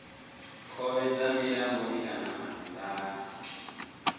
khovhe dza milamboni kana madzivhani